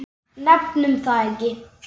Nefnum það ekki.